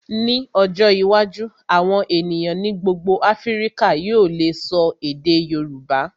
Ní ọjọ́ iwájú, àwọn ènìyàn ní gbogbo Áfíríkà yóò lè ṣọ èdè Yorùbá.